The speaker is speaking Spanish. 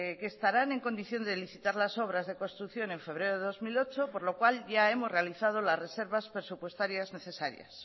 que estarán en condición de licitar las obras de construcción en febrero de dos mil ocho por lo cual ya hemos realizado las reservas presupuestarias necesarias